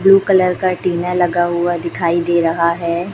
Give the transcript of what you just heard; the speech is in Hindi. ब्लू कलर का टीना लगा हुआ दिखाई दे रहा है।